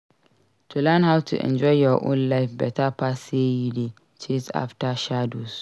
To learn how to enjoy your own life beta pass sey you dey chase after shadows.